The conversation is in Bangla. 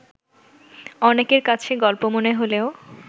অনেকের কাছে গল্প মনে হলেও